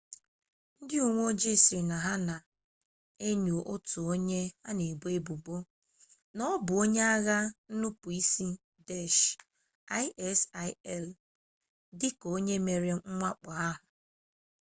ndị uwe ojii sị na ha na-enyo otu onye a na-ebo ebubo na ọ bụ onye agha nnupuisi daesh isil dịka onye mere mwakpo ahụ